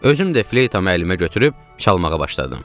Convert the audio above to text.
Özüm də fleytamı əlimə götürüb çalmağa başladım.